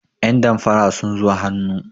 yandamfara sun zo hannu